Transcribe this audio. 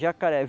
Jacaré.